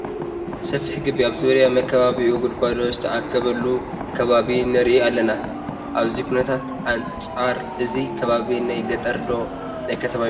ሰፊሕ ግቢ ኣብ ዙርያ መካበቢኡ ጉድጉዶ ዝተኣከበሉ ከባቢ ንርኢ ኣለና፡፡ ካብዚ ኩነታት ኣንፃር እዚ ከባቢ ናይ ገጠር ዶ ናይ ከተማ ይመስል?